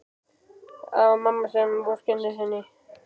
Það var mamma sem vorkenndi henni.